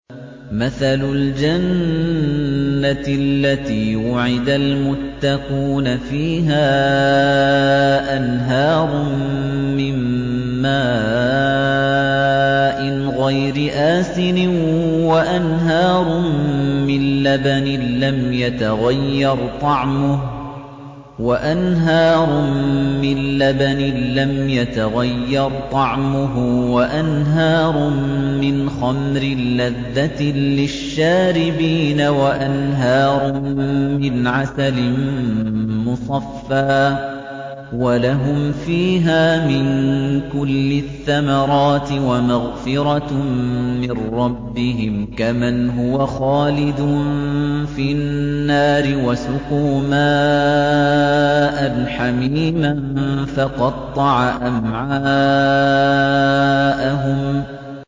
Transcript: مَّثَلُ الْجَنَّةِ الَّتِي وُعِدَ الْمُتَّقُونَ ۖ فِيهَا أَنْهَارٌ مِّن مَّاءٍ غَيْرِ آسِنٍ وَأَنْهَارٌ مِّن لَّبَنٍ لَّمْ يَتَغَيَّرْ طَعْمُهُ وَأَنْهَارٌ مِّنْ خَمْرٍ لَّذَّةٍ لِّلشَّارِبِينَ وَأَنْهَارٌ مِّنْ عَسَلٍ مُّصَفًّى ۖ وَلَهُمْ فِيهَا مِن كُلِّ الثَّمَرَاتِ وَمَغْفِرَةٌ مِّن رَّبِّهِمْ ۖ كَمَنْ هُوَ خَالِدٌ فِي النَّارِ وَسُقُوا مَاءً حَمِيمًا فَقَطَّعَ أَمْعَاءَهُمْ